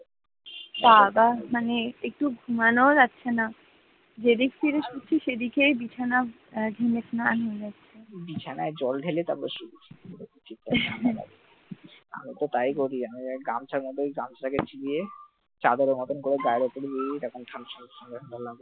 আমি তো তাই করি গামছা থাকে গামছা টাকে ভিজিয়ে গায়ের উপরে চাদরের মত ঠান্ডা ঠান্ডা লাগে,